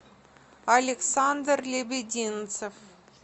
александр лебединцев